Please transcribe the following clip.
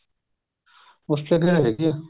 ਉਸ ਚ ਹੈਗੀ ਏ